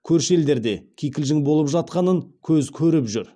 көрші елдерде кикілжің болып жатқанын көз көріп жүр